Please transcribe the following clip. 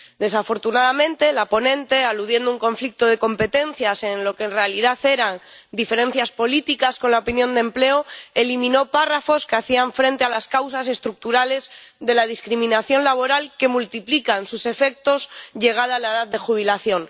Desafortunadamente, la ponente, aludiendo a un conflicto de competencias en lo que en realidad eran diferencias políticas con la opinión de la Comisión de Empleo, eliminó párrafos que hacían frente a las causas estructurales de la discriminación laboral, que multiplican sus efectos llegada la edad de jubilación.